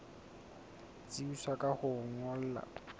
tsebisa ka ho o ngolla